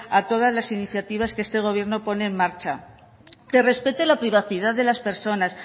a todas las iniciativas que este gobierno pone en marcha que respete la privacidad de las personas